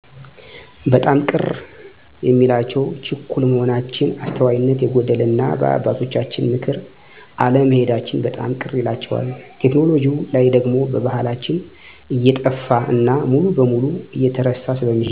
በጣም ቅር የሚላቸው ችኩል መሆናችን፣ አስተዋይነት የጎደለንና በአባቶቻችን ምክር አለመሔዳችን በጣም ቅር ይላቸዋል። ቴክኖሎጅው ላይ ደግሞ ባሕላችን እየጠፋ እና ሙሉ በሙሉ እየተረሳ ስለሚሔድ ነው። ልክ ናቸው ለምሣሌ፣ ያለንን ልምድ እናባሕል ሳናጠፋ እንድንቀጥል ስለሚፈልጉ ነው።